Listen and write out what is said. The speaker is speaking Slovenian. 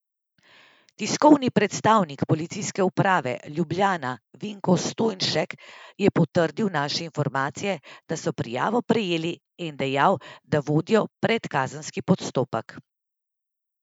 Tiskovni predstavnik Policijske uprave Ljubljana Vinko Stojnšek je potrdil naše informacije, da so prijavo prejeli, in dejal, da vodijo predkazenski postopek.